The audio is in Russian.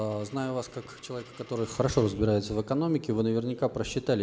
знаю вас как человека который хорошо разбирается в экономике вы наверняка просчитали